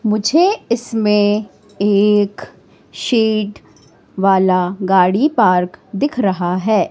मुझे इसमें एक सीट वाला गाड़ी पार्क दिख रहा है।